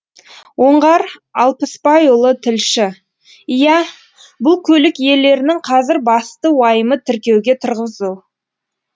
оңғар алпысбайұлы тілші иә бұл көлік иелерінің қазір басты уайымы тіркеуге тұрғызу